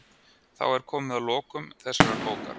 Þá er komið að lokum þessarar bókar.